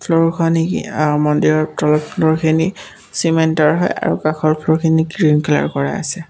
মন্দিৰৰ খিনি চিমেণ্টৰ হয় আৰু কাষৰ ফ্ল'ৰখিনি গ্ৰীণ কালাৰ কৰা আছে।